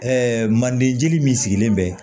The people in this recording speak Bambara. manden jeli min sigilen bɛ